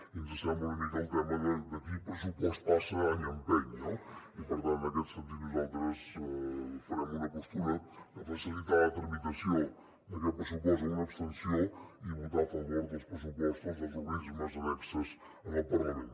i ens sembla una mica el tema de qui pressupost passa any empeny no i per tant en aquest sentit nosaltres farem una postura de facilitar la tramitació d’aquest pressupost amb una abstenció i votar a favor dels pressupostos dels organismes annexos al parlament